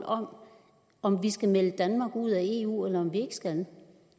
om om vi skal melde danmark ud af eu eller om vi ikke skal